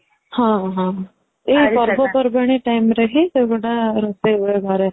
ହଁ ହଁ ଏଇ ପର୍ବ ପର୍ବାଣି timeରେ ହି ସେଗୁଡା ରୋଷେଇ ହୁଏ ଘରେ